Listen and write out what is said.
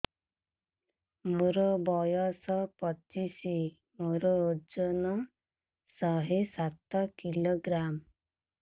ମୋର ବୟସ ପଚିଶି ମୋର ଓଜନ ଶହେ ସାତ କିଲୋଗ୍ରାମ